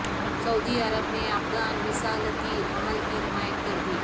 سعودی عرب نے افغان مصالحتی عمل کی حمایت کردی